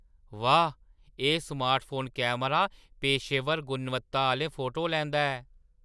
वाह्! एह्‌ smartphone camera पेशेवर गुणवत्ता आह्‌ले फोटो लैंदा ऐ।